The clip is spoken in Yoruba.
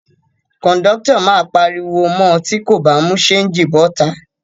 Kòńdọ́tọ̀ máa pariwo mọ tí kò bá mú ṣéńjì bọ́ta